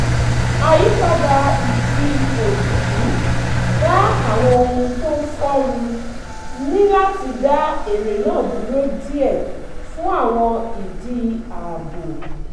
àyípadà ìjì òjijì da àwọn ohun tó ń fò rú níláti dá eré náà dúró díẹ̀ fún àwọn ìdí ààbò